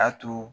A to